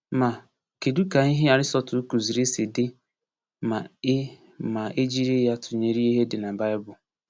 Ma, kedu ka ihe Aristotle kụziri si dị ma e ma e jiri ya tụnyere ihe dị n’Baịbụl?